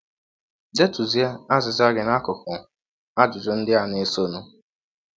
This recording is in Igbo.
Detụzie azịza gị n’akụkụ ajụjụ ndị a na - esọnụ.